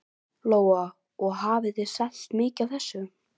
Lóa: Og hafið þið selt mikið af þessu?